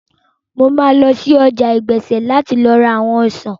Mo máa lọ sí ọjà ọ̀gbẹ̀sẹ̀ láti ra àwọn ọsàn